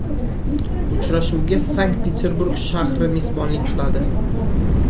Uchrashuvga Sankt-Peturburg shahri mezbonlik qiladi.